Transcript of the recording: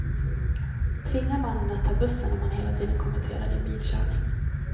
Tvinga mannen att ta bussen om han hela tiden kommenterar din bilkörning.